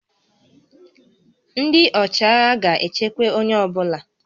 Ndị ọchịagha ga-echekwa onye ọ bụla